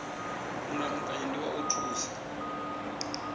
mulamukanyi ndi wa u thusa